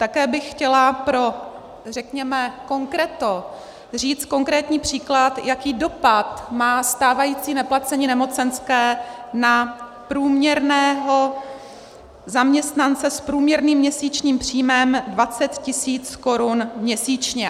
Také bych chtěla pro, řekněme, konkreto říct konkrétní příklad, jaký dopad má stávající neplacení nemocenské na průměrného zaměstnance s průměrným měsíčním příjmem 20 000 korun měsíčně.